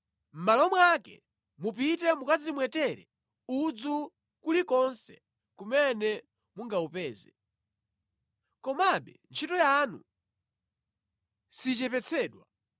Mʼmalo mwake mupite mukadzimwetere udzu kulikonse kumene mungawupeze. Komabe ntchito yanu sichepetsedwa.’ ”